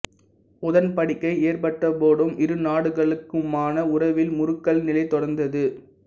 உடன்படிக்கை ஏற்பட்ட போதும் இரு நாடுகளுக்குமான உறவில் முறுக்கல் நிலை தொடர்ந்தது